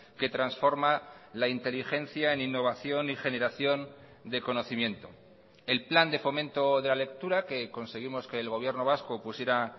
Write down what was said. que transforma la inteligencia en innovación y generación de conocimiento el plan de fomento de la lectura que conseguimos que el gobierno vasco pusiera